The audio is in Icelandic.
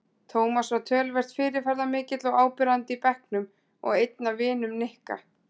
Tómas var töluvert fyrirferðarmikill og áberandi í bekknum og einn af vinum Nikka.